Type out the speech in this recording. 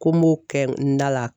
Ko n b'o kɛ n da la